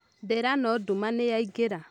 Ndĩrano nduma nĩyaingĩra